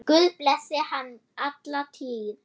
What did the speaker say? Guð blessi hann alla tíð.